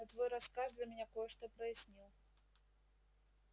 но твой рассказ для меня кое-что прояснил